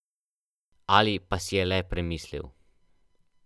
Ali pa si je le premislil.